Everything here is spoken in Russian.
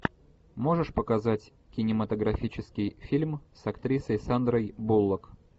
можешь показать кинематографический фильм с актрисой сандрой буллок